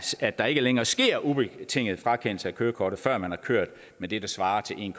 at der ikke længere sker ubetinget frakendelse af kørekortet før man har kørt med det der svarer til en